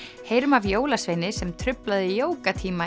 heyrum af jólasveini sem truflaði